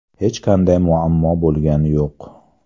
Hech qanday muammo bo‘lgani yo‘q.